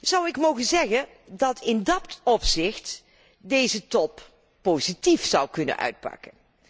Zou ik mogen zeggen dat in dat opzicht deze top positief zou kunnen uitpakken?